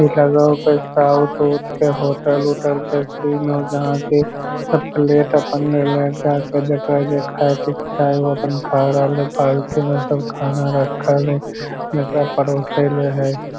इ लगो हो कोय साउथ - उउत के होटल - उटल के सीन हो जहां कि प्लेट अपन ले ले हे जायके जेकरा जे खाय क इक्छा है उ अपन खा रहल है बाल्टी मे सब खाना रखल है जेकरा परोसे ल है।